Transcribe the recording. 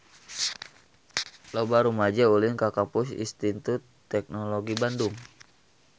Loba rumaja ulin ka Kampus Institut Teknologi Bandung